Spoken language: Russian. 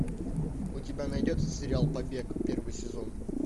у тебя найдется сериал побег первый сезон